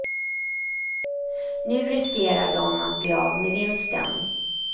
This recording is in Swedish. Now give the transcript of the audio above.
Nu riskerar de att bli av med vinsten.